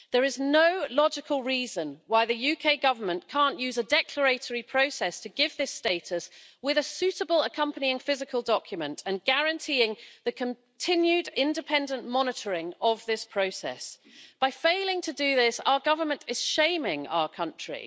There is no logical reason why the UK Government can't use a declaratory process to give this status with a suitable accompanying physical document and guaranteeing the continued independent monitoring of this process. By failing to do this our government is shaming our country.